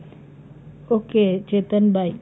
okay Chetan bye.